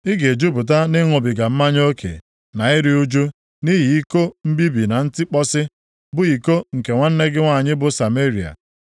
Ị ga-ejupụta nʼịṅụbiga mmanya oke na iru ụjụ, nʼihi iko mbibi na ntikpọsi, bụ iko nke nwanne gị nwanyị bụ Sameria.